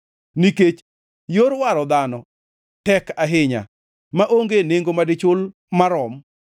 Nikech yor waro dhano tek ahinya, maonge nengo madichul marom,